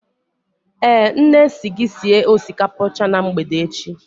Eh, nne si gị sie osikapa ọcha na mgbede echi